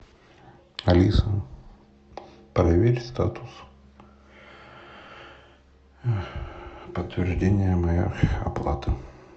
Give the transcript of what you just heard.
алиса проверь статус подтверждения моей оплаты